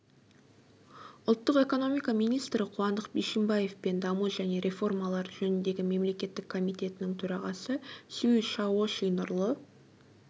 ұлттық экономика министрі қуандық бишімбаев пен даму және реформалар жөніндегі мемлекеттік комитетінің төрағасы сюй шаоши нұрлы